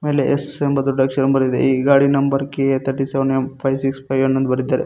ಅಲ್ಲಿ ಎಸ್ ಎಂಬ ದೊಡ್ಡ ಅಕ್ಷರ ಬರೆದಿದೆ ಈ ಗಾಡಿ number K A thirty seven M five six five one ಎಂದು ಬರೆದಿದ್ದಾರೆ.